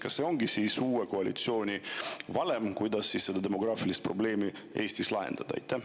Kas selline ongi uue koalitsiooni valem, kuidas demograafilist probleemi Eestis lahendada?